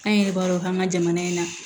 An yɛrɛ b'a dɔn k'an ka jamana in na